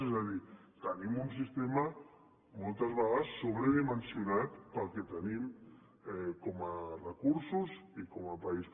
és a dir tenim un sistema moltes vegades sobredimensionat pel que tenim com a recursos i com a país